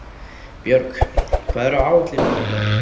Björg, hvað er á áætluninni minni í dag?